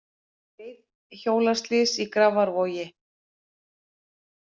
Reiðhjólaslys í Grafarvogi